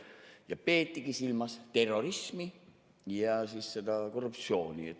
Ja peetigi silmas terrorismi ja korruptsiooni.